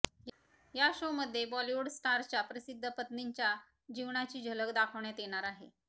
या शोमध्ये बॉलिवूड स्टार्सच्या प्रसिद्ध पत्नींच्या जीवनाची झलक दाखवण्यात येणार आहे